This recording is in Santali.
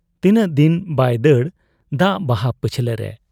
ᱛᱤᱱᱟᱹᱜ ᱫᱤᱱ ᱵᱟᱭ ᱫᱟᱹᱲ ᱫᱟᱜ ᱵᱟᱦᱟ ᱯᱟᱹᱪᱷᱞᱟᱹ ᱨᱮ ᱾